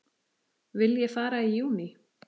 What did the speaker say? Vil ég fara í júní?